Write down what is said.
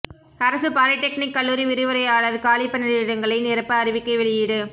அரசு பாலிடெக்னிக் கல்லூரி விரிவுரையாளா் காலிப் பணியிடங்களை நிரப்ப அறிவிக்கை வெளியீடு